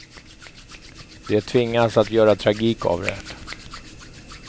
De tvingas att göra tragik av det.